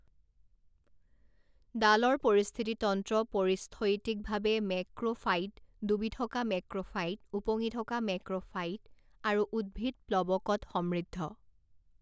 দালৰ পৰিস্থিতিতন্ত্ৰ পৰিস্থৈতিকভাৱে মেক্ৰোফাইট, ডুবি থকা মেক্ৰোফাইট, ওপঙি থকা মেক্ৰোফাইট, আৰু উদ্ভিদ প্লৱকত সমৃদ্ধ।